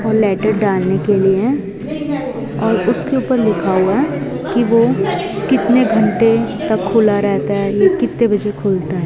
वो लेटर डालने के लिए और उसके ऊपर लिखा हुआ है कि वो कितने घंटे तक खुला रहता है या कितने बजे खुलता है।